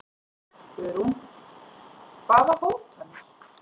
Guðrún: Hvaða hótanir?